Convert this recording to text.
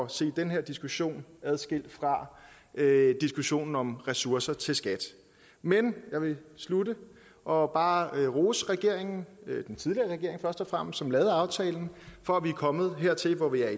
se den her diskussion adskilt fra diskussionen om ressourcer til skat men jeg vil slutte og bare rose regeringen den tidligere regering først og fremmest som lavede aftalen for at vi er kommet hertil hvor vi er